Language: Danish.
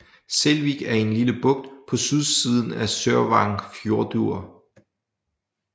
Selvík er en lille bugt på sydsiden af Sørvágsfjørður